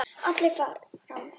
Allir fram!